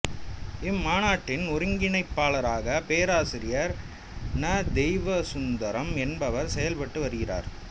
இம்மாநாட்டின் ஒருங்கிணைப்பாளராக பேராசிரியர் ந தெய்வசுந்தரம் என்பவர் செயல்பட்டு வருகிறார்